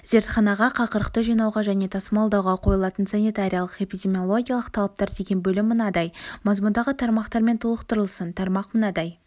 зертханаға қақырықты жинауға және тасымалдауға қойылатын санитариялық-эпидемиологиялық талаптар деген бөлім мынадай мазмұндағы тармақтармен толықтырылсын тармақ мынадай